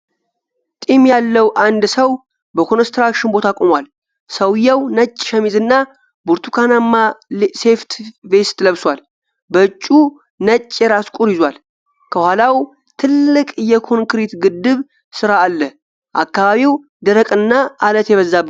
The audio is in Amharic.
ጢም ያለው አንድ ሰው በኮንስትራክሽን ቦታ ቆሟል። ሰውየው ነጭ ሸሚዝና ብርቱካንማ ሴፍቲ ቬስት ለብሷል። በእጁ ነጭ የራስ ቁር ይዟል። ከኋላው ትልቅ የኮንክሪት ግድብ ሥራ አለ። አካባቢው ደረቅና ዐለት የበዛበት ነው።